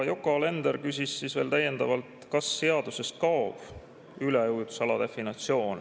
Yoko Alender küsis veel täiendavalt, kas seadusest kaob üleujutusala definitsioon.